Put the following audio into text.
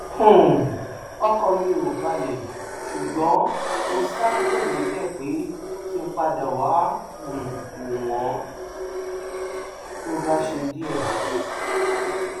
um ọkàn mi ò balẹ ṣùgbọn mo ṣáà kúrò níbẹ pé kí n padà wàá um wò wọn tó bá ṣe díẹ